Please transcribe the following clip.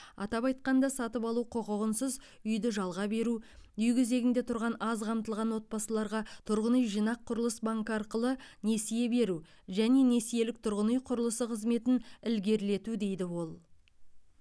атап айтқанда сатып алу құқығынсыз үйді жалға беру үй кезегінде тұрған аз қамтылған отбасыларға тұрғын үй жинақ құрылыс банкі арқылы несие беру және несиелік тұрғын үй құрылысы қызметін ілгерілету дейді ол